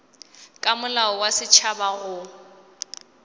ka molao wa setšhaba go